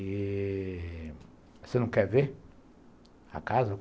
E... você não quer ver a casa?